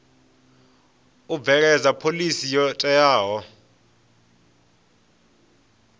u bveledza phoḽisi yo teaho